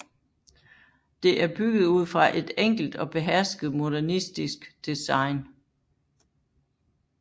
Det er bygget ud fra et enkelt og behersket modernistisk design